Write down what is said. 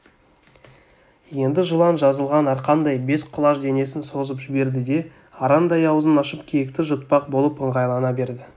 енді жылан жазылған арқандай бес құлаш денесін созып жіберді де арандай аузын ашып киікті жұтпақ болып ыңғайлана берді